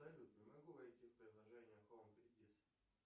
салют не могу войти в приложение хоум кредит